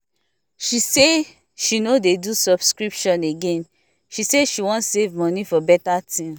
she say she no dey do subscription again she say she wan save money for better thing